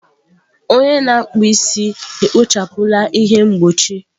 Onye na-akpụ isi ekpochapụla ihe mgbochi.